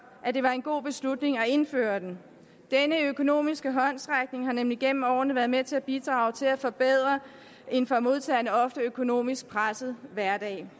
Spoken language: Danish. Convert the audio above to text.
at det var en god beslutning at indføre den denne økonomiske håndsrækning har nemlig gennem årene været med til at bidrage til at forbedre en for modtagerne ofte økonomisk presset hverdag